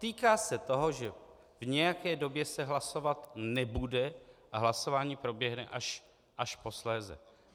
Týká se toho, že v nějaké době se hlasovat nebude a hlasování proběhne až posléze.